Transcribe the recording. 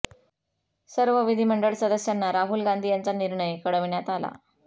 सर्व विधिमंडळ सदस्यांना राहुल यांचा निर्णय कळविण्यात आला